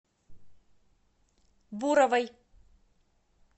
буровой